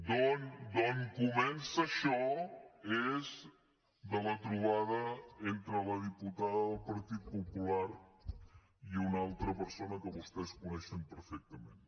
d’on comença això és de la trobada entre la diputada del partit popular i una altra persona que vostès coneixen perfectament